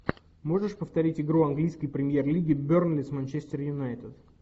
можешь повторить игру английской премьер лиги бернли с манчестер юнайтед